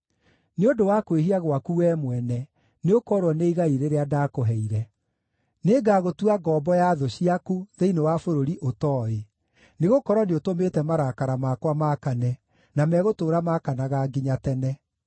Nĩ ũndũ wa kwĩhia gwaku wee mwene, nĩũkoorwo nĩ igai rĩrĩa ndaakũheire. Nĩngagũtua ngombo ya thũ ciaku thĩinĩ wa bũrũri ũtooĩ, nĩgũkorwo nĩũtũmĩte marakara makwa maakane, na megũtũũra makanaga nginya tene.”